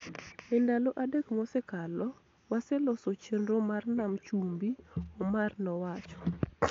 E ndalo adek mosekalo, waseloso chenro mar Nam Chumbi,� Omar nowacho.